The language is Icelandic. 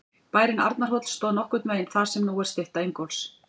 Bærinn Arnarhóll stóð nokkurn veginn þar sem nú er stytta Ingólfs.